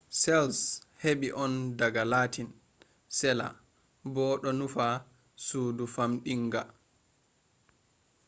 cells heɓi on daga latin cella bo ɗo nufa sudu famɗdinga